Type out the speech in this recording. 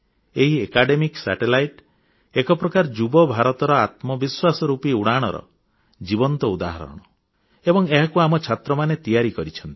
ଏହି ଶିକ୍ଷଣ ଉପଗ୍ରହର ଏକ ପ୍ରକାର ଯୁବ ଭାରତର ଆତ୍ମବିଶ୍ୱାସ ରୁପି ଉଡ଼ାଣର ଜୀବନ୍ତ ଉଦାହରଣ ଏବଂ ଏହାକୁ ଆମ ଛାତ୍ରମାନେ ତିଆରି କରିଛନ୍ତି